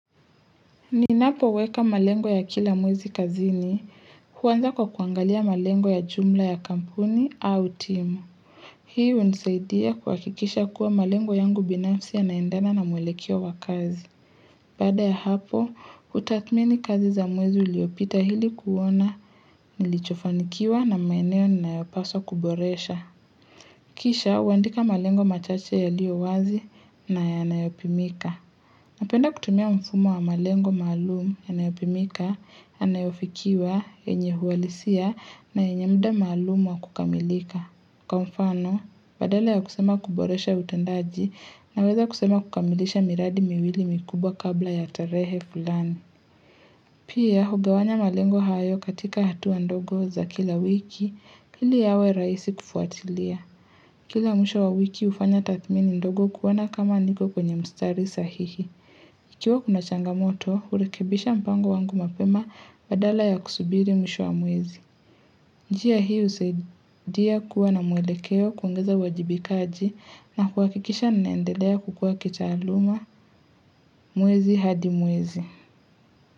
Ninapoweka malengo ya kila mwezi kazini, huanza kwa kuangalia malengo ya jumla ya kampuni au timu. Hii unisaidia kuhakikisha kuwa malengo yangu binafsi yanaendana na mwelekeo wa kazi. Bada ya hapo, utathmini kazi za mwezi uliopita hili kuona, nilichofanikiwa na maeneo ninayopaswa kuboresha. Kisha, huandika malengo machache yaliowazi na yanayopimika. Napenda kutumia mfumo wa malengo maalum yanayopimika, yanayofikiwa, yenye huwalisia na yenye mda maalum wa kukamilika. Kwa mfano, badala ya kusema kuboresha utendaji naweza kusema kukamilisha miradi miwili mikubwa kabla ya tarehe fulani. Pia, hugawanya malengo hayo katika hatua ndogo za kila wiki, hili yawe raisi kufuatilia. Kila mwisho wa wiki hufanya tathmini ndogo kuona kama niko kwenye mstari sahihi. Ikiwa kuna changamoto, urekibisha mpango wangu mapema badala ya kusubiri mwisho wa mwezi. Njia hii husaidia kuwa na mwelekeo kuongeza uwajibikaji na kuhakikisha ninaendelea kukua kitaluma mwezi hadi mwezi.